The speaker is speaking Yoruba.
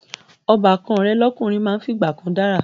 Ọbàkan rẹ̀ lọ́kùnrin máa ń fìgbà kan dára